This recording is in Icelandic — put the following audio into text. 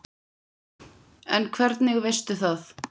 En hvernig veistu það?